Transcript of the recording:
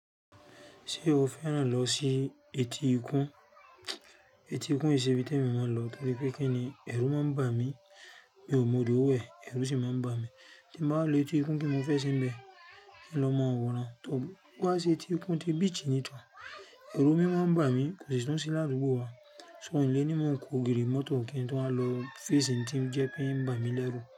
Ṣé o fẹ́ràn lọ sí etí ikún? Etí ikún ìsebì tí eyan mo ń lọ torí pé kí ni ẹrú máa ń bà mí, mi ò mọ odò wẹ̀ ẹrú sì máa ń bà mí. Tí mo bá lọ etí ikún kí n mo fẹ́ sì ń bẹ, kí n lọ máa wọ̀nra tọ̀. Wá sí etí ikún ti beach ẹrú mo máa ń bà mí kò sì tún sí ládúgbò wá. So ìlé ní mo ń kó ògiri mọ́tò kin tó báa lọ fẹ́ sì ń tí ń jẹ́ pé ń bà mí lẹ́rú.